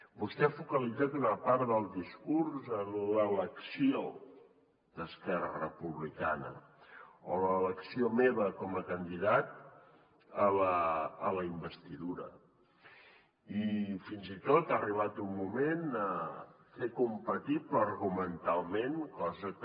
vostè ha focalitzat una part del discurs en l’elecció d’esquerra republicana o en l’elecció meva com a candidat a la investidura i fins i tot ha arribat un moment a fer compatible argumentalment cosa que